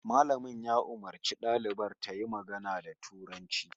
Malamin ya umarci dalibar tayi magana da Turanci